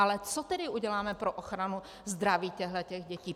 Ale co tedy uděláme pro ochranu zdraví těchto dětí?